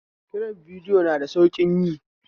Kirar bidiyo na da sauƙin yi